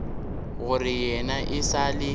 gore yena e sa le